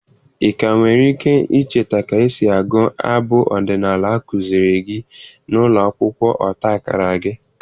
Ị ka nwere ike icheta ka esi agụ abụ ọdịnala a kụziiri gị na ụlọ akwụkwọ ọta akara gị?